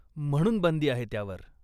म्हणून बंदी आहे त्यावर.